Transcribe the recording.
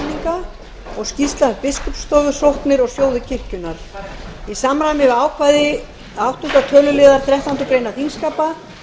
rammaskýringa önnur skýrsla um biskupsstofu sóknir og sjóði kirkjunnar í samræmi við ákvæði áttunda töluliðar þrettándu greinar þingskapa